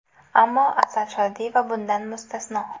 Ammo Asal Shodiyeva bundan mustasno.